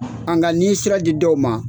Anka n'i ye sira di dɔw ma,